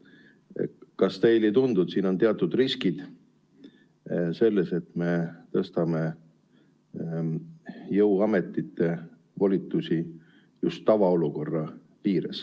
Kas teile ei tundu, et siin on teatud riskid, et me tõstame jõuametite volitusi just tavaolukorra ajal?